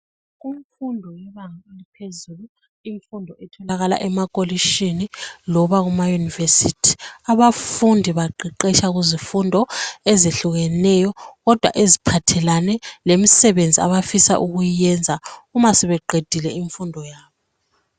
Kumfundo yebanga eliphezulu imfundo etholakala emakolitshini noma emaYunivesithi abafundi baqeqetsha kuzifundo ezehlukeneyo kodwa eziphathelane lemisebenzi abafisa ukuyenza uma sebeqedile imfundo yabo.